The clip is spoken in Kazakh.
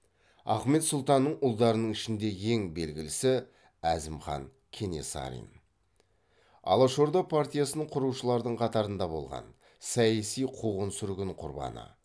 ахмет сұлтанның ұлдарының ішінде ең белгілісі әзімхан кенесарин алашорда партиясын құрушылардың қатарында болған саяси қуғын сүргін құрбаны